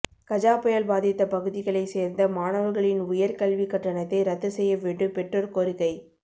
கஜாபுயல் பாதித்த பகுதிகளை சேர்ந்த மாணவர்களின் உயர் கல்வி கட்டணத்தை ரத்து செய்ய வேண்டும் பெற்றோர் கோரிக்கை